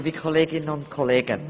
Sie haben das Wort.